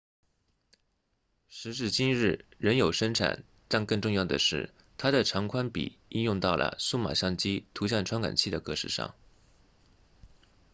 时至今日仍有生产但更重要的是它的长宽比应用到了数码相机图像传感器的格式上